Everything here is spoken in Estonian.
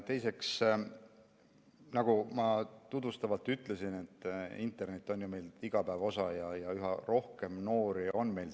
Teiseks, nagu ma tutvustavalt ütlesin, internet on meil igapäeva osa ja üha rohkem noori on seal.